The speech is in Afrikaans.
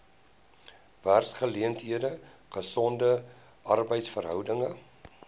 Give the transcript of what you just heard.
werksgeleenthede gesonde arbeidsverhoudinge